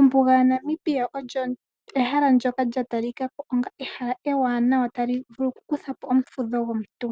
Ombuga ya Namibia olyo ehala ndoka lya talikako olyo ehala ewanawa tali vulu oku kuthapo omufudho gwomuntu .